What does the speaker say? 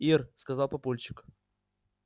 ир сказал папульчик